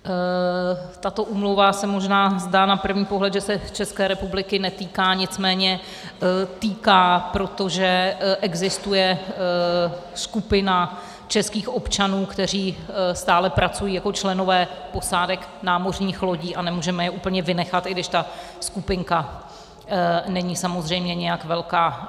Tato úmluva se možná zdá na první pohled, že se České republiky netýká, nicméně týká, protože existuje skupina českých občanů, kteří stále pracují jako členové posádek námořních lodí, a nemůžeme je úplně vynechat, i když ta skupinka není samozřejmě nijak velká.